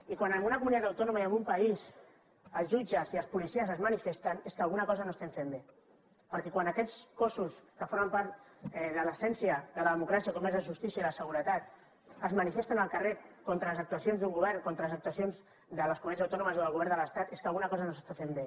i quan en una comunitat autònoma i en un país els jutges i els policies es manifesten és que alguna cosa no estem fent bé perquè quan aquests cossos que formen part de l’essència de la democràcia com és la justícia i la seguretat es manifesten al carrer contra les actuacions d’un govern contra les actuacions de les comunitats autònomes o del govern de l’estat és que alguna cosa no s’està fent bé